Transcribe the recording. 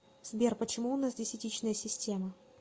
сбер почему у нас десятичная система